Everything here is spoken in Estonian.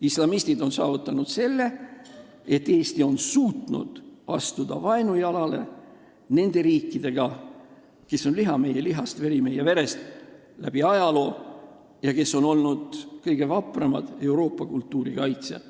Islamistid on saavutanud selle, et Eesti on vaat et vaenujalal riikidega, kes on läbi ajaloo olnud liha meie lihast, veri meie verest, kes on olnud kõige vapramad Euroopa kultuuri kaitsjad.